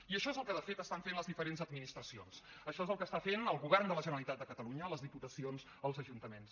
i això és el que de fet estan fent les diferents administracions això és el que està fent el govern de la generalitat de catalunya les diputacions els ajuntaments